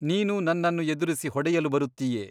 ನೀನು ನನ್ನನ್ನು ಎದುರಿಸಿ ಹೊಡೆಯಲು ಬರುತ್ತೀಯೆ.